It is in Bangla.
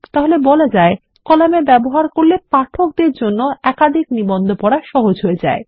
তাহলে বলা যায় কলাম এর ব্যবহার করলে পাঠকের জন্য একাধিক নিবন্ধ পড়া সহজ করে দেয়